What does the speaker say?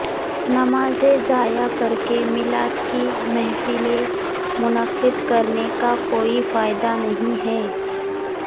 نمازیں ضائع کرکے میلاد کی محفلیں منعقد کرنے کا کوئی فائدہ نہیں ہے